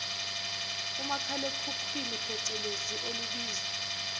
umakhalekhukhwini pecelezi olubizwa